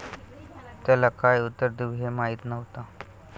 त्याला काय उत्तर देऊ हे माहीत नव्हतं.